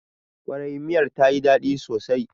Ƙwarai, miyar ta yi daɗi sosai